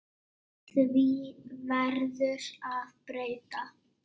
Því verður að breyta.